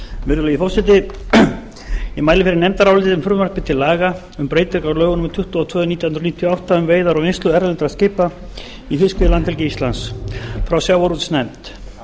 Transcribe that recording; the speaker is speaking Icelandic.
virðulegi forseti ég mæli fyrir nefndaráliti um frumvarp til laga um breytingu á lögum númer tuttugu og tvö nítján hundruð níutíu og átta um veiðar og vinnslu erlendra skipa í fiskveiðilandhelgi íslands frá sjávarútvegsnefnd nefndin